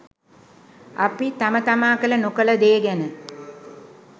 අපි තම තමා කළ නොකළ දේ ගැන